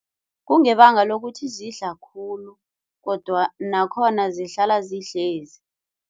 Kungebanga lokuthi zidla khulu nakhona zihlala zihlezi.